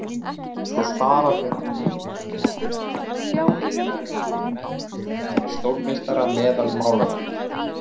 Svo stara þeir á mig af veggjunum, heilagir menn, eftir stórmeistara meðal málara.